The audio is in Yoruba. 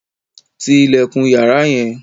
Tí ilẹkun yàrá yẹn!